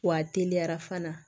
Wa a teliyara fana